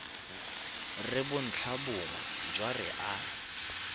re bontlhabongwe jwa re a